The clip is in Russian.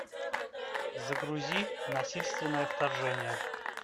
загрузи насильственное вторжение